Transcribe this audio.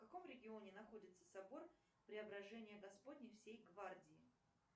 в каком регионе находится собор преображения господня всей гвардии